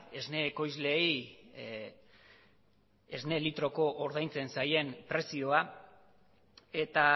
esne ekoizleei esne litroko ordaintzen zaien prezioa eta